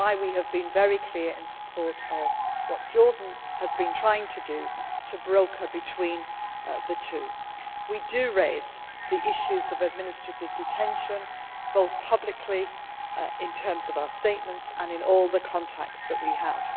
It is why we have been very clear in support of what Jordan has been trying to do, to act as broker between the two. We do raise the issues of administrative detention, both publicly, in our statements, and in all the contacts that we